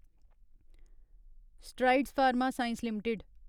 strides Pharma Science limited